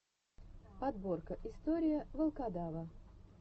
подборка история волкодава